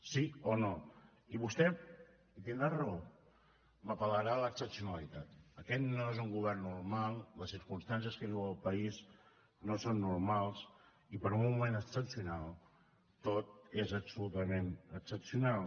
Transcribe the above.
sí o no i vostè i tindrà raó m’apel·larà a l’excepcionalitat aquest no és un govern normal les circumstàncies que viu el país no són normals i per un moment excepcional tot és absolutament excepcional